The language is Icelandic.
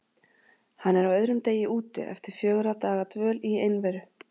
Hann er á öðrum degi úti eftir fjögurra daga dvöl í einveru.